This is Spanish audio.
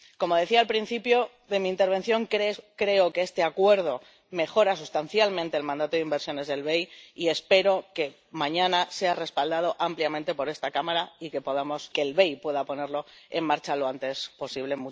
Como decía al principio de mi intervención, creo que este acuerdo mejora sustancialmente el mandato de inversiones del BEI y espero que mañana sea respaldado ampliamente por esta Cámara y que el BEI pueda ponerlo en marcha lo antes posible.